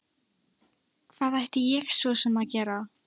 Hvað ætti ég svo sem að gera?